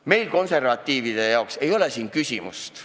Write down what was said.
Meie, konservatiivide jaoks ei ole siin küsimust.